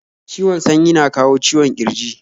Ciwon sanyi na kawo ciwon ƙirji